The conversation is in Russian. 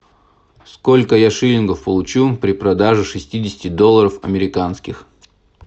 сколько я шиллингов получу при продаже шестидесяти долларов американских